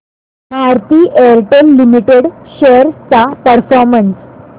Bharti Airtel limited shares चा performance